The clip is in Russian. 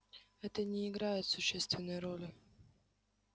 это не играет существенной роли